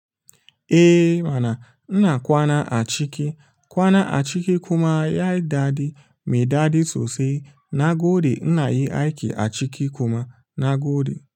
Eh mana, ina kwana a ciki. Kwana a ciki kuma yayi daɗi, mai daɗi sosai. Na gode inayi aiki a ciki kuma na gode.